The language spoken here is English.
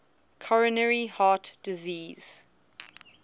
coronary heart disease